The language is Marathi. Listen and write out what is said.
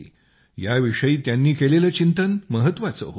याविषयी त्यांनी केलेलं चिंतन महत्वाचं होतं